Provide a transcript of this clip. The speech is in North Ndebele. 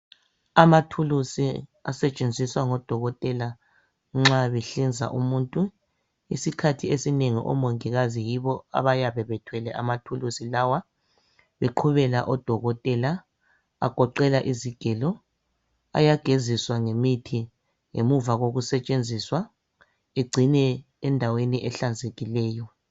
Amathulusi asetshenziswa ngodokotela nxa behlenza umuntu isikhathi esinengi omongikazi yibo abayabe bethwele amathulusi lawa beqhubela odokotela agoqela izigelo ayageziswa ngemithi ngemuva lokusetshenziswa egcinwe endaweni ehlanzekileyo